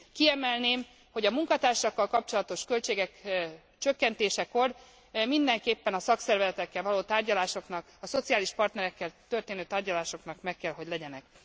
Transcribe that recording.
Kiemelném, hogy a munkatársakkal kapcsolatos költségek csökkentésekor mindenképpen a szakszervezetekkel való tárgyalásoknak, a szociális partnerekkel történő tárgyalásoknak meg kell, hogy legyenek.